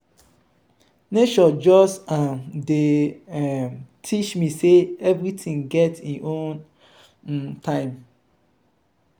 nature just um dey um teach me sey everytin get im own um time.